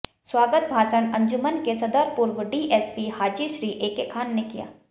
स्वागत भाषण अंजुमन के सदर पूर्व डीएसपी हाजी श्री एके खान ने किया